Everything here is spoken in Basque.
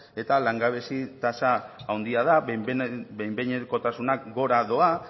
eta langabezi tasa handia da behin behinekotasunak gora doa